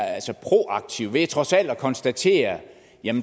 proaktiv ved trods alt at konstatere at